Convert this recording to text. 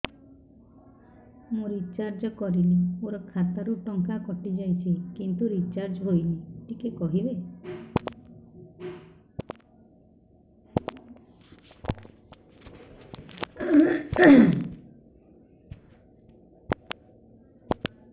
ମୁ ରିଚାର୍ଜ କରିଲି ମୋର ଖାତା ରୁ ଟଙ୍କା କଟି ଯାଇଛି କିନ୍ତୁ ରିଚାର୍ଜ ହେଇନି ଟିକେ କହିବେ